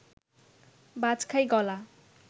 বাজখাঁই গলা